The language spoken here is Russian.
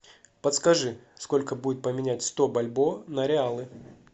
подскажи сколько будет поменять сто бальбоа на реалы